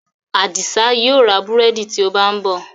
Adisa yíò rá búrẹ́dì tí ó bá nbó.